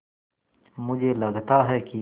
मुझे लगता है कि